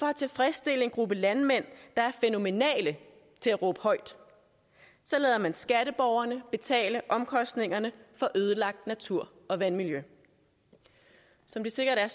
at tilfredsstille en gruppe landmænd der er fænomenale til at råbe højt lader man skatteborgerne betale omkostningerne for ødelagt natur og vandmiljø som det sikkert er